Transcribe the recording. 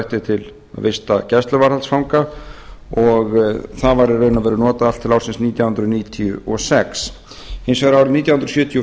ætti til að vista gæsluvarðhaldsfanga og það var í raun notað allt til ársins nítján hundruð níutíu og sex hins vegar árið nítján hundruð